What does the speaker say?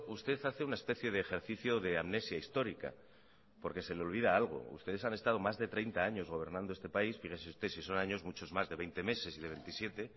usted hace una especie de ejercicio de amnesia histórica porque se le olvida algo ustedes han estado más de treinta años gobernando este país fíjese usted si son años muchos más de veinte meses y de veintisiete